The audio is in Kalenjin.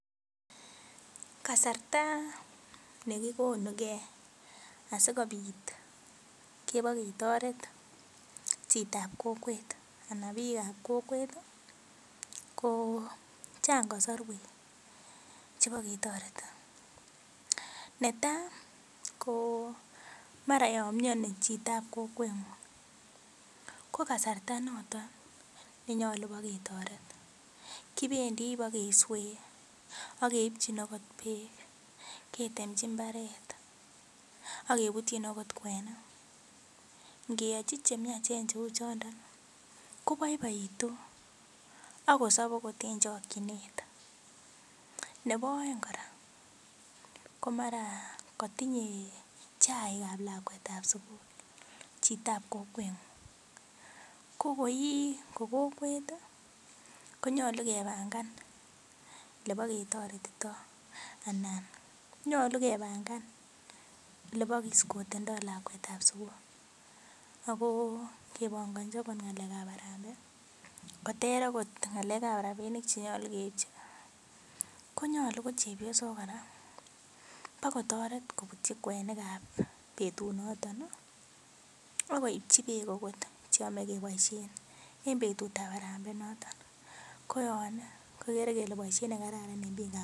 Kasarta nekikonu keen asikobit keboketoret chitab kokwet anan bikab kokwet ko Chang kosorwek chebo ketoreti netai ko mara yon mioni chitab kokwet ngu ko kasarta noton nenyolu boketoret kibendi bokeswee ak keipjin okot beek, ketemji imbaret ak kebutyin okot kwenik inngeyoji cheimiache cheu choton koboiboitu akosob okot en chokinet. Nebo oeng kora komara kotinyee chaikab lakwetab sukul chitab kokwenguu ko ko ii kokwet tii konyolu kepanga lebo ketoretito anan nyolu kepanga leboketoret ito anan nyolu kepanga leboketoretito lakwetab sukul ako kepongochi okot ngalekab arambei Kotor okot ngalekab rabinik chenyolu keibjin konyolu kochepyosok koraa bokotoret kebutyi kwenikab betut noton nii ak koibji beek okot cheyome keboishen en betutab harambee inoton koyon kekere kele boishet nekararan en bikab.